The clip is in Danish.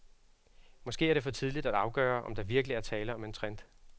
Måske er det for tidligt at afgøre, om der virkelig er tale om en trend.